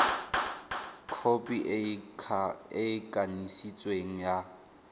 khopi e e kanisitsweng ya